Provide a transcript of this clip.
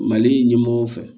Mali ɲɛmɔgɔ fɛ